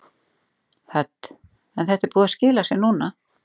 Hödd: En þetta er búið að skila sér núna?